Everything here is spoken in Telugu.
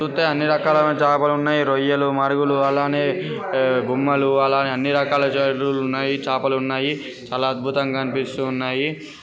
చూతే అన్నీ రకాల చాపలు ఉన్నాయి రొయ్యలు మరుగులు అలానే బొమ్మలు అలానే అన్నీ రకాల చలుకులు ఉన్నాయి చాపలు ఉన్నాయి చాలా అద్బుతమంగా అనిపిస్తు ఉన్నాయి